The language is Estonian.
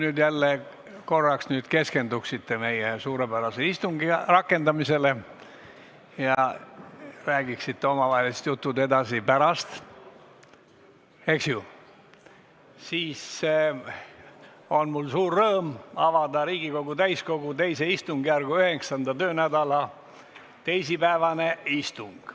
Kui te nüüd korraks jälle keskendute meie suurepärase istungi rakendamisele ja räägite omavahelisi jutte edasi pärast, siis on mul suur rõõm avada Riigikogu täiskogu II istungjärgu 9. töönädala teisipäevane istung.